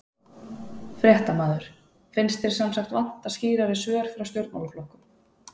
Fréttamaður: Finnst þér sem sagt vanta skýrari svör frá stjórnmálaflokkum?